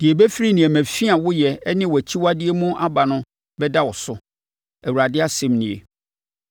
Deɛ ɛbɛfiri nneɛma fi a woyɛ ne wʼakyiwadeɛ mu aba no bɛda wo so, Awurade asɛm nie.